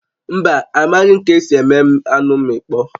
Mba, amaghị ka-esi eme anụ mmịkpọ